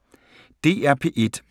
DR P1